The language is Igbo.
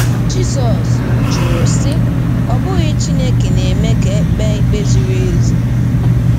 Jizọs jụrụ, sị: “ Ọ́ bụghị Chineke na-eme ka e kpee ikpe ziri ezi?